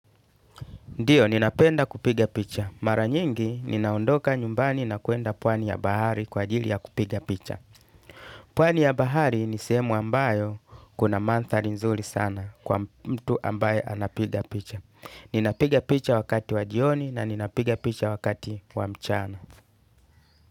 Ndiyo, ninapenda kupiga picha. Mara nyingi, ninaondoka nyumbani na kuenda pwani ya bahari kwa ajili ya kupiga picha. Pwani ya bahari ni sehemu ambayo kuna manthari nzuri sana kwa mtu ambaye anapiga picha. Ninapiga picha wakati wa jioni na ninapiga picha wakati wa mchana.